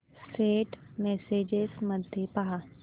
Saint messages मध्ये पहा